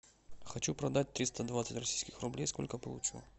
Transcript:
хочу продать триста двадцать российских рублей сколько получу